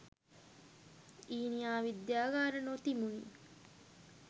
ඊනියා විද්‍යාගාර නො තිබුණි